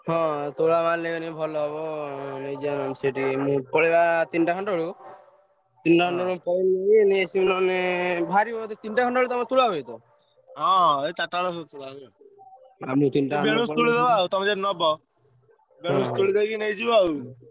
ହଁ ତୋଳା ମାଲ ନେଇଗଲେ ଭଲ ହବ ହଁ ଏଇ ଚାରିଟା ବେଳ ସୁଦ୍ଧା ଆମେ ତିନଟା